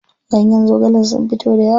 Ganyen zogalen sun fito dayawa.